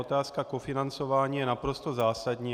Otázka kofinancování je naprosto zásadní.